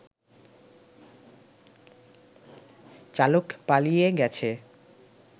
চালক পালিয়ে গেছে